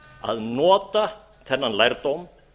að nota þennan lærdóm